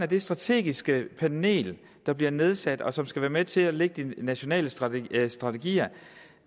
det strategiske panel der bliver nedsat og som skal være med til at lægge de nationale strategier strategier